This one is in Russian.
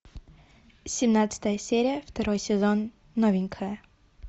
семнадцатая серия второй сезон новенькая